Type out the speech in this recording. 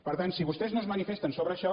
per tant si vostès no es manifesten sobre això